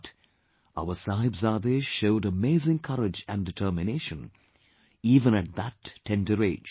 But, our Sahibzade showed amazing courage and determination even at that tender age